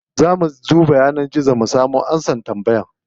Za mu duba yanar gizo mu samo amsar tambayar.